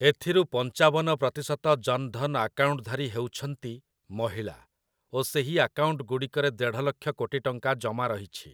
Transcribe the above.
ଏଥିରୁ ପଞ୍ଚାବନ ପ୍ରତିଶତ ଜନ୍‌ଧନ୍‌ ଆକାଉଣ୍ଟଧାରୀ ହେଉଛନ୍ତି ମହିଳା ଓ ସେହି ଆକାଉଣ୍ଟଗୁଡ଼ିକରେ ଦେଢ଼ଲକ୍ଷ କୋଟି ଟଙ୍କା ଜମା ରହିଛି ।